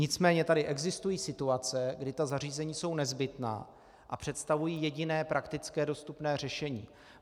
Nicméně tady existují situace, kdy ta zařízení jsou nezbytná a představují jediné praktické dostupné řešení.